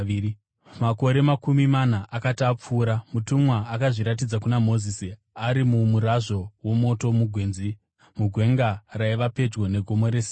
“Makore makumi mana akati apfuura, mutumwa akazviratidza kuna Mozisi ari mumurazvo womoto mugwenzi, mugwenga raiva pedyo neGomo reSinai.